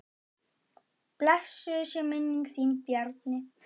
Blessuð sé minning þín Bjarni.